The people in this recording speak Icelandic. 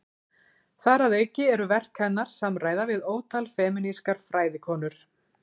Þar að auki eru verk hennar samræða við ótal femínískar fræðikonur.